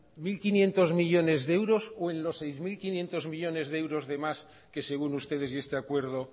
mil quinientos millónes de euros o en los seis mil quinientos millónes de euros de más que según ustedes y este acuerdo